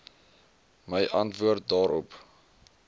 my antwoord daarop